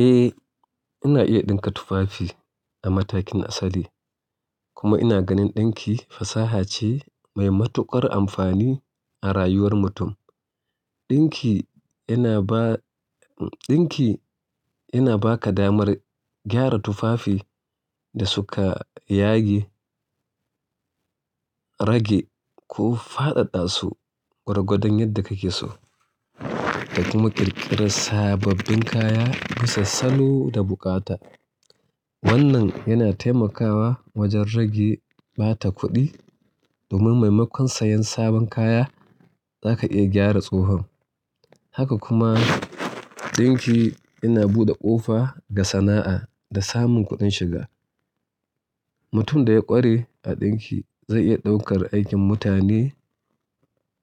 Eh, ina iya ɗinka tufafi a matakin asali kuma ina ganin ɗinki fasaha ce mai matuƙar amfani a rayuwar mutum. Ɗinki yana ba, ɗinki yana ba ka damar gyara tufafi da suka yage, rage ko faɗaɗa su gwargwadon yadda kake so da kuma ƙirƙira sababbin kaya bisa salo da bukata. Wannan yana taimakawa wajen rage ɓata kuɗi domin maimakon sayen sabon kaya, za ka iya gyara tsohon. Haka kuma ɗinki yana buɗe ƙofa ga sana'a da samun kuɗin shiga. Mutum da ya ƙware a ɗinki zai iya ɗaukar aikin mutane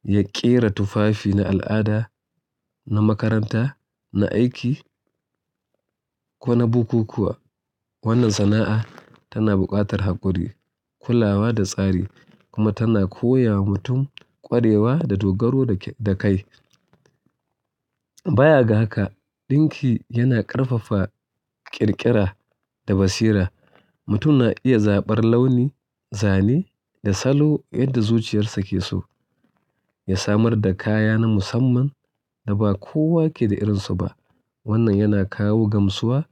ya ƙera tufafi na al'ada, na makaranta, na aiki ko na bukukuwa. Wannan sana'a tana buƙatar haƙuri, kulawa da tsari kuma tana koya wa mutum ƙwarewa da dogaro da kai. Wannan yana taimakawa wajen rage ɓata kuɗi domin maimakon sayen sabon kaya, za ka iya gyara tsohon. Mutum na iya zaɓar launi, zane da salo yadda zuciyarsa ke so ya samar da kaya na musamman da ba kowa ke da irin su ba. Wanna yana kawo gamsuwa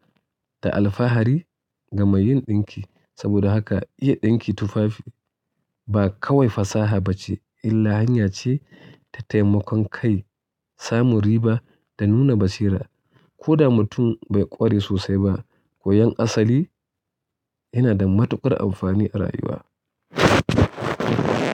da alfahari ga meyin ɗinki saboda haka iya ɗinki tufafi ba kawai fasaha bace illa hanya ce ta taimakon kai, samun riba da nuna basira. Koda mutum bai ƙware sosai ba, koyon asali yana da matuƙar amfani a rayuwa.